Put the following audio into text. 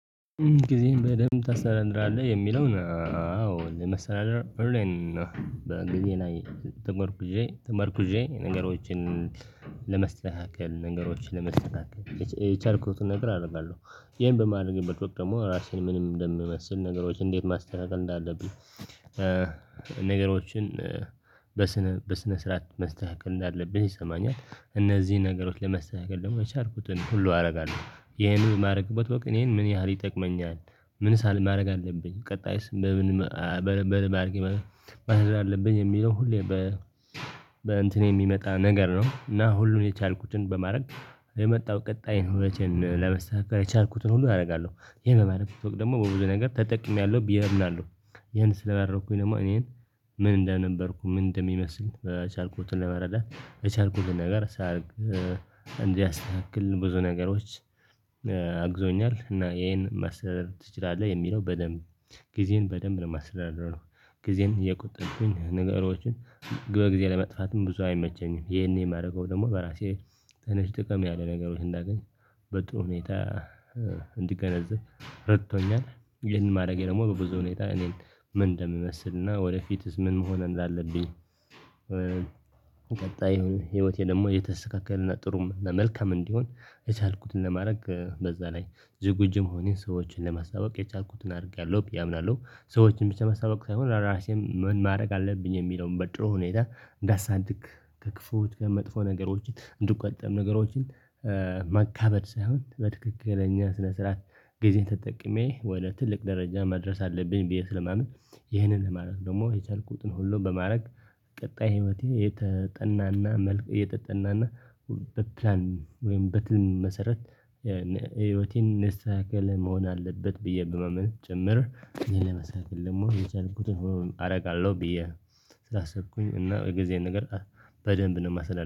ጊዜም በደንብ ታስተራራለህ የሚለውን አዎ ለማስተካከል እረን በእንግሊዝ ላይ ተመርኩዤ ተመርኩዤ ነገሮችን ለመስተካከል ነገሮችን ለመስተካከል የቻልኩትን ነገር አደርጋለሁ ይሄን በማድረግበት ወቅት ደግሞ ራሴን ምንም እንደምመስል ነገሮችን እንዴት ማስተካከል እንዳለብኝ። ነገሮችን በስነ በስነ ስርዓት መስተካከል እንዳለብህ ይሰማኛል እነዚህን ነገሮች ለመስተካከል ደግሞ የቻልኩትን ሁሉ አደርጋለሁ ይሄንን የማደርግበት ወቅት ይሄን ምን ያህል ይጠቅመኛል? ምን ሳል ማድረግ አለብኝ ቀጣይስ? በምን ማለት አለብኝ የሚለው ሁሌ በ በእንትን የሚመጣ ነገር ነው። እና ሁሉን የቻልኩትን በማድረግ የመጣው ቀጣይን ሁለቴን ለመስጠት የቻልኩትን ሁሉ አደርጋለሁ። የመመረብ ስቶክ ደግሞ በብዙ ነገር ተጠቅሜያለሁ ብዬ አምናለሁ። ይሄን ስላደረኩኝ ደግሞ እኔን ምን እንደነበርኩ ምን እንደሚመስል የቻልኩትን ለመረዳት በቻልኩትን ነገር ሳያደርግ እንዲያስተካክልን ብዙ ነገሮች አግዞኛል። እና ይሄን ማስተዳደር ትችላለህ የሚለው በደንብ ጊዜን በደንብ ነው የማስተዳደርነው። ጊዜን እየቆጠርኩኝ ንገሮችን በጊዜ ለመጥፋትም ብዙ አይመቸኝም። ይሄን የማደርገው ደግሞ በራሴ ትንሽ ጥቅም ያለ ነገሮች እንዳገኝ በጥሩ ሁኔታ እንዲገነዘብ ረድቶኛል። ይሄን ማድረጌ ደግሞ በብዙ ሁኔታ እኔን ምን እንደምመስልና ወደፊትስ ምን መሆን እንዳለብኝ? ቀጣይ ይሁን ህይወቴ ደግሞ እየተስተካከልና ጥሩም መልከም እንዲሆን የቻልኩትን ለማድረግ በዛ ላይ ዝግጁ መሆኔን ሰዎችን ለማስታወቅ የቻልኩትን አድርጋለሁ ብዬ አምናለሁ። ሰዎችን ብቻ መስተዋወቅ ሳይሆን ራሴን ምን ማድረግ አለብኝ የሚለውን በጥሩ ሁኔታ እንዳሳድግ። ከክፉ ወጥቶ መጥፎ ነገሮችን እንድትቆጠሩ ነገሮችን ማካበድ ሳይሆን በትክክለኛ ስነ ስርዓት ጊዜን ተጠቅሜ ወደ ትልቅ ደረጃ መድረስ አለብኝ ብዬ ስለማምን። ይህንን ማድረግ ደግሞ የቻልኩትን ሁሉ በማድረግ ቀጣይ ህይወቴ የተጠናና መልኩ የተጠናና በፕላን ወይም በትም መሰረት። የህይወቴን ንስሃ ከለመሆን አለበት ብዬ ብመመን ጭምር እኔ ለመስራት ደግሞ የቻልኩትን አደርጋለሁ ብዬ። ስላሰብኩኝ እና የጊዜ ነገር በደንብ ነው የማስተዳድረው